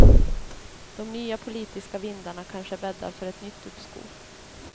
De nya politiska vindarna kanske bäddar för ett nytt uppskov.